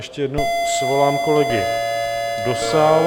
Ještě jednou svolám kolegy do sálu.